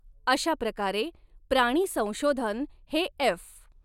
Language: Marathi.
अशा प्रकारे, प्राणी संशोधन हे एफ.